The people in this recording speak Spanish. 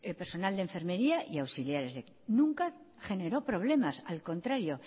personal de enfermería y auxiliares de enfermería nunca generó problemas al contrario